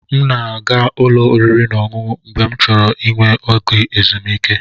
M na-aga ụlọ oriri na ọṅụṅụ mgbe m chọrọ inwe oge ezumike.